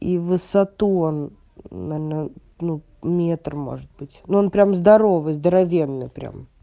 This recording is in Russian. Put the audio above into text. и в высоту он наверно ну метр может быть ну он прям здоровый здоровенный прям